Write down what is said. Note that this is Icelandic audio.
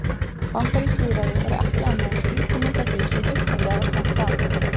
Bandarískt lýðræði er ekki annað en skrípamynd af því sem upphaflega var stefnt að.